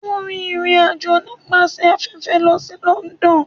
O rin irín ajọ nipasẹ afẹfẹ lo si London.